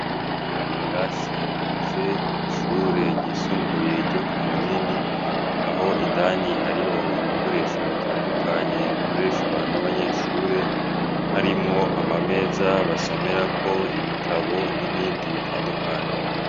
Kimwe mu birasi bigize ishure ryisumbuye ryo ku Munini, aho indani hariho ibikoresho bitandukanye bikoreshwa n'abanyeshure, harimwo amameza basomerako ibitabo n'ibindi bitandukanye.